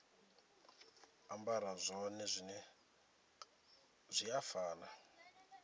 ambara zwone zwi a fana